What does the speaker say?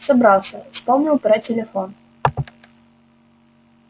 собрался вспомнил про телефон